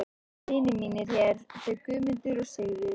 Vinir mínir hér, þau Guðmundur og Sigríður.